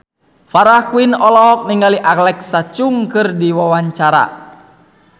Farah Quinn olohok ningali Alexa Chung keur diwawancara